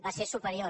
va ser superior